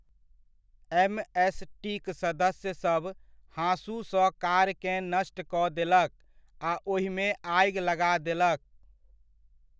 एमएसटीक सदस्यसभ हाँसूसँ कारकेँ नष्ट कऽ देलक आ ओहिमे आगि लगा देलक।